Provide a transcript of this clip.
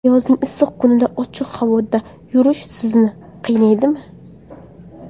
Yozning issiq kunida ochiq havoda yurish sizni qiynaydimi?